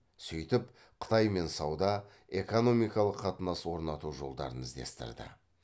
сөйтіп қытаймен сауда экономикалық қатынас орнату жолдарын іздестірді